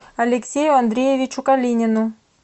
алексею андреевичу калинину